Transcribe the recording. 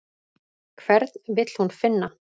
Hvern vill hún finna?